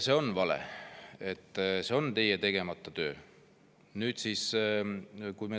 See on vale, see on teie tegemata töö.